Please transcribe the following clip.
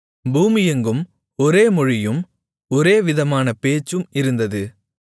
பூமியெங்கும் ஒரே மொழியும் ஒரே விதமான பேச்சும் இருந்தது